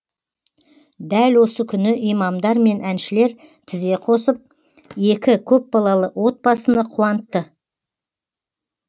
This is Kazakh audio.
дәл осы күні имамдар мен әншілер тізе қосып екі көпбалалы отбасыны қуантты